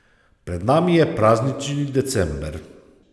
Pred nami je praznični december.